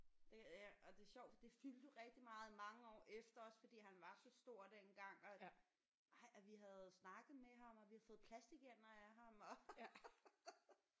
Det ja og det er sjovt for det fyldte jo rigtig meget i mange år efter også fordi han var så stor dengang og ej og vi havde snakket med ham og vi havde fået plastikænder af ham og